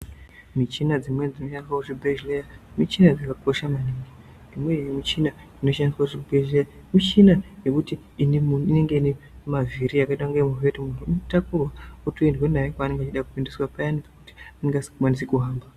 Michina dzimweni dzinoshandiswa muzvibhehleya michina dzakakosha maningi. imwenihe michina inoshandiswa kuzvibhedhlera michina yekuti inenge inemavhiri yakaita yekuti munhu unotakurwa otoendwa naye kwaanenge achida kuendeswa paya nekuti unenge asingakwanisi kuhamba.